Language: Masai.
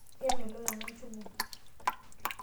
Kemelok nena njugu.